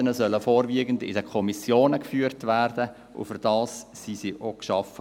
Die Debatten sollen vorwiegend in den Kommissionen geführt werden, und dafür wurden diese auch geschaffen.